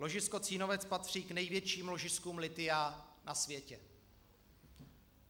Ložisko Cínovec patří k největším ložiskům lithia na světě.